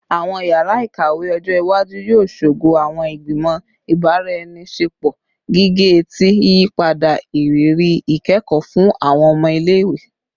Awọn yara ikawe ọjọ iwaju yoo ṣogo awọn igbimọ ibaraenisepo gige-eti, yiyipada iriri ikẹkọ fun awọn ọmọ ile-iwe